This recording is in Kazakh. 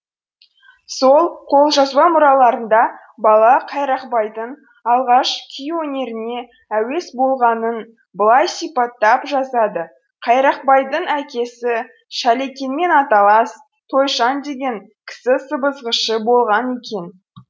сол қолжазба мұраларында бала қайрақбайдың алғаш күй өнеріне әуес болғанын былай сипаттап жазады қайрақбайдың әкесі шалекенмен аталас тойшан деген кісі сыбызғышы болған екен